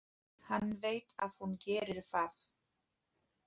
Hann veit að hún gerir það.